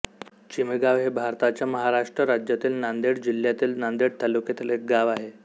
चिमेगाव हे भारताच्या महाराष्ट्र राज्यातील नांदेड जिल्ह्यातील नांदेड तालुक्यातील एक गाव आहे